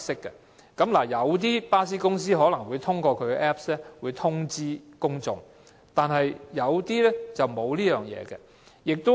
雖然一些巴士公司可能會通過 Apps 通知公眾，但一些則沒有這樣做。